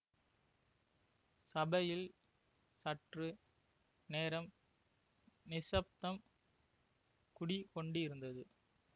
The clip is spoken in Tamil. சபையில் சற்று நேரம் நிசப்தம் குடிகொண்டிருந்தது